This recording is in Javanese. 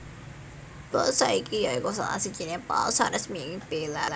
Basa iki ya iku salah sijiné basa resmi ing Bélarus